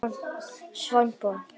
Svanborg